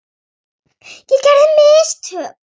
Ég gerði mistök.